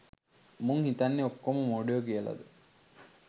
මුන් හිතන්නේ ඔක්කොම මොඩයෝ කියලද